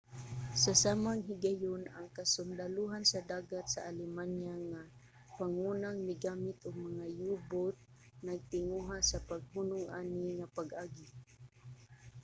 sa samang higayon ang kasundalohan sa dagat sa alemanya nga pangunang migamit og mga u-boat nagtinguha sa paghunong ani nga pag-agi